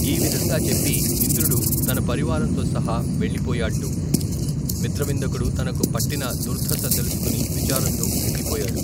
ఈ విధంగా చెప్పి ఇంద్రుడు తన పరివారంతో సహా వెళ్ళిపోయాడ్డు. మిత్రవిందకుడు తనకు పట్టిన ధుర్ధశ తెలుసుకుని విచారంతో కుంగిపోయాడు.